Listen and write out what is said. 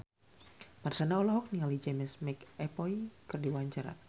Marshanda olohok ningali James McAvoy keur diwawancara